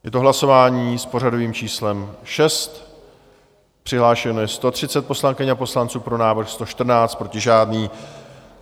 Je to hlasování s pořadovým číslem 6, přihlášeno je 130 poslankyň a poslanců, pro návrh 114, proti žádný.